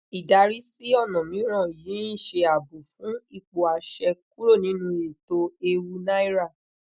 idari si ona miran yi nse aabo fun ipo ase kuro ninueeto eewu naira